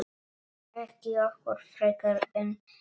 Ekki okkur frekar en öðrum.